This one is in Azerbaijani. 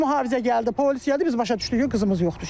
Mühafizə gəldi, polis gəldi, biz başa düşdük ki, qızımız yoxdur.